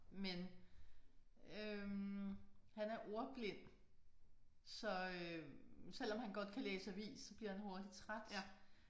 Men øh han er ordblind så øh selvom han godt kan læse avis så bliver han hurtigt træt